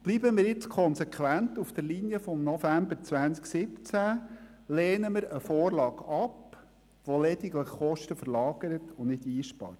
Bleiben wir nun konsequent auf der Linie vom November 2017 und lehnen eine Vorlage ab, welche lediglich Kosten verlagert und nicht einspart.